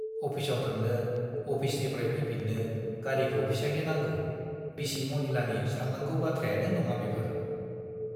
अफिसाव थांनो, आफिसनिफ्राइ फैफिन्नो गारिखौ फिसाइनो नांगौ- बिसि मनिलानि सान्नांगौ बाथ्रायानो नङा बेफोर।